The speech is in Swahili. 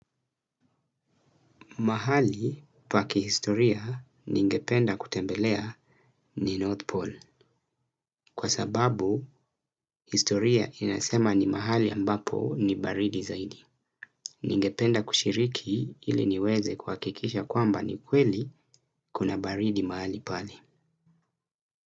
Mahali pa kihistoria ningependa kutembelea ni North Pole. Kwa sababu, historia inasema ni mahali ambapo ni baridi zaidi. Ningependa kushiriki ili niweze kuhakikisha kwamba ni kweli kuna baridi mahali pale.